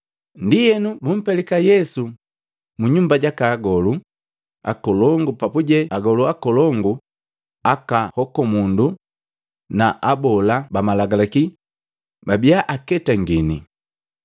Ndienu bumpelika Yesu mu nyumba jaka Agolu Akolongu papuje agolu akolongu, akahokomundu na abola bamalagalaki babia aketangini.